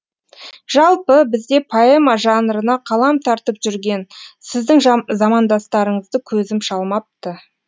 жалпы бізде поэма жанрына қалам тартып жүрген сіздің замандастарыңызды көзім шалмапты